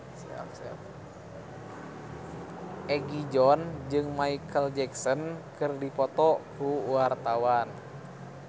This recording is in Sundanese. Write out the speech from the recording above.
Egi John jeung Micheal Jackson keur dipoto ku wartawan